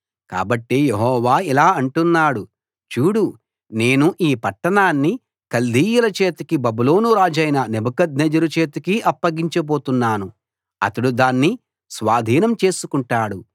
కాబట్టి యెహోవా ఇలా అంటున్నాడు చూడు నేను ఈ పట్టణాన్ని కల్దీయుల చేతికి బబులోను రాజైన నెబుకద్నెజరు చేతికి అప్పగించబోతున్నాను అతడు దాన్ని స్వాధీనం చేసుకుంటాడు